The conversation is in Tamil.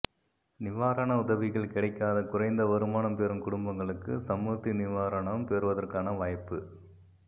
நிவாரண உதவிகள் கிடைக்காத குறைந்த வருமானம் பெறும் குடும்பங்களுக்கு சமுர்த்தி நிவாரணம் பெறுவதற்கான வாய்ப்பு